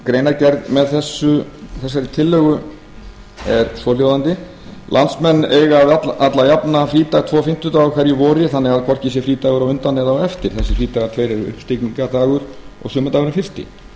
greinargerð með þessari tillögu er svohljóðandi landsmenn eiga allajafna frídag tvo fimmtudaga á hverju vori þannig að hvorki er frídagur á undan né eftir þessir frídagar tveir eru uppstigningardagur og sumardagurinn fyrsti sömuleiðis eiga